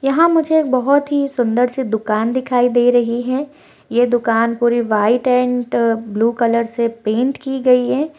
यहाँ मुझे एक बहुत ही सुंदर सी दुकान दिखाई दे रही है ये दुकान पूरे वाईट एंड ब्लू कलर से पेन्ट की गई है।